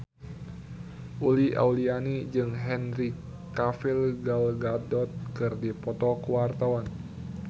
Uli Auliani jeung Henry Cavill Gal Gadot keur dipoto ku wartawan